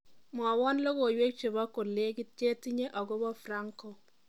Mwowo logoiwek chebo kolekit chetinye akobo Franco